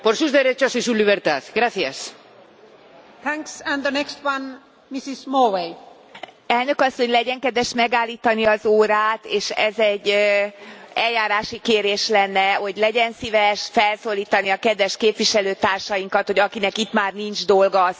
Elnök Asszony, legyen kedves megállítani az órát, és ez egy eljárási kérés lenne, hogy legyen szíves felszólítani a kedves képviselőtársainkat, hogy akinek itt már nincs dolga, az fáradjon ki, mert ilyen zűrzavarban és hangzavarban nem lehet felszólalásokat eszközölni.